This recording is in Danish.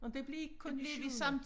Nåh det blev I kun i syvende